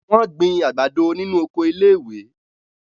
Wọ́n gbin àgbàdo nínu oko iléèwé